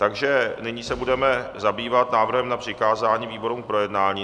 Takže nyní se budeme zabývat návrhem na přikázání výborům k projednání.